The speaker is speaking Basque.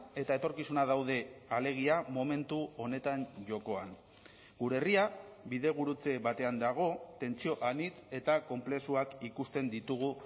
eta etorkizuna daude alegia momentu honetan jokoan gure herria bidegurutze batean dago tentsio anitz eta konplexuak ikusten ditugu